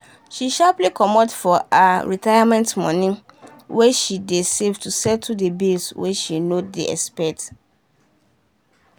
she sharply comot for her retirement money wey she dey save to settle the bills wey she no dey expect.